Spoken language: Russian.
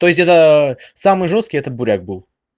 то есть это самый жёсткий это буряк был